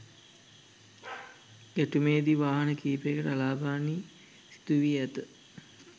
ගැටුමේදී වාහන කිහිපයකට අලාභ හානී සිදු වී ඇත.